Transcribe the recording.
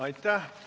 Aitäh!